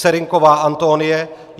Serynková Antonie